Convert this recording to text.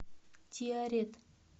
тиарет